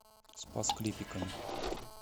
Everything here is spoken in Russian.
спас клепиками